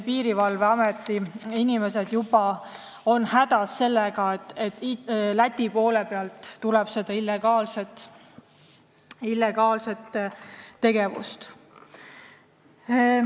Piirivalveameti inimesed juba on hädas sellega, et Läti poole pealt tuleb illegaalset tegevust.